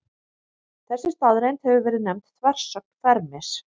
Þessi staðreynd hefur verið nefnd þversögn Fermis.